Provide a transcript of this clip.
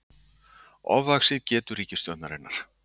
Ofvaxið getu ríkisstjórnarinnar